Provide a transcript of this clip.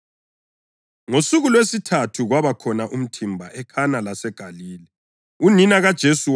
Ngosuku lwesithathu kwaba khona umthimba eKhana laseGalile. Unina kaJesu wayekhona,